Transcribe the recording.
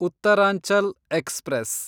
Uttaranchal express